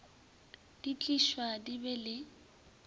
di tliswa di be le